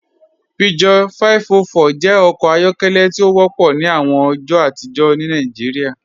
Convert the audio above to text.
Peugeot 504 jẹ ọkọ ayọkẹlẹ ti o wọpọ ni awọn ọjọ atijọ ni Nàìjíríà.